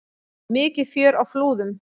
Mikið fjör á Flúðum